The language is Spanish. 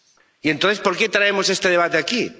Y, entonces, ¿por qué traemos este debate aquí?